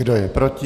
Kdo je proti?